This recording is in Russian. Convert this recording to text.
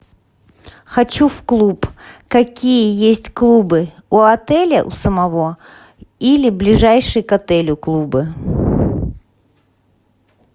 хочу в клуб какие есть клубы у отеля у самого или ближайшие к отелю клубы